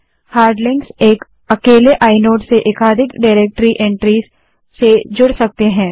hard links एक अकेले inode से एकाधिक डाइरेक्टरी एन्ट्रीज़ से जुड़ सकते हैं